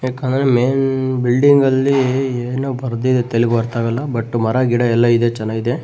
ಯಾಕಂದ್ರ ಮೈನ್ ಬಿಲ್ಡಿಂಗಲ್ಲಿ ಏನೊ ಬರ್ದಿದೆ ತೆಲುಗು ಅರ್ತಾಗಲ್ಲ ಬಟ್ ಮರ ಗಿಡ ಎಲ್ಲ ಇದೆ ಚೆನ್ನಾಗಿದೆ.